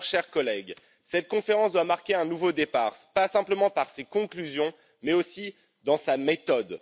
Alors, chers collègues, cette conférence doit marquer un nouveau départ, pas simplement par ses conclusions, mais aussi dans sa méthode.